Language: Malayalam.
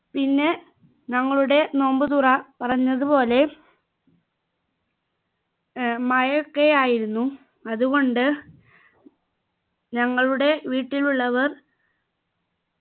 പിന്നെ ഞങ്ങളുടെ നോമ്പുതുറ പറഞ്ഞതുപോലെ ഏർ മഴയൊക്കെ ആയിരുന്നു അതുകൊണ്ട് ഞങ്ങളുടെ വീട്ടിലുള്ളവർ